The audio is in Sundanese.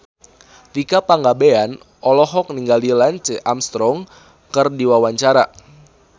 Tika Pangabean olohok ningali Lance Armstrong keur diwawancara